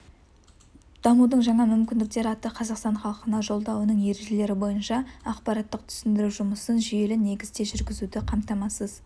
дамудың жаңа мүмкіндіктері атты қазақстан халқына жолдауының ережелері бойынша ақпараттық-түсіндіру жұмысын жүйелі негізде жүргізуді қамтамасыз